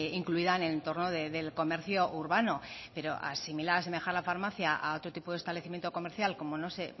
incluida en el entorno del comercio urbano pero asimilar o asemejar la farmacia a otro tipo de establecimiento comercial no sé